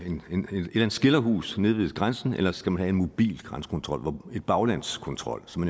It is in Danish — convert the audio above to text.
eller andet skilderhus nede ved grænsen eller skal man have en mobil grænsekontrol en baglandskontrol som